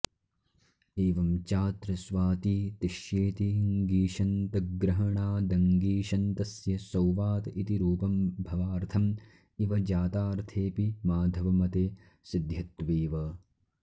एवं चात्र स्वाती तिष्येति ङीषन्तग्रहणादङीषन्तस्य सौवात इति रूपं भवार्थं इव जातार्थेऽपि माधवमते सिध्यत्वेव